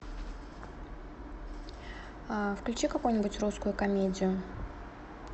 включи какую нибудь русскую комедию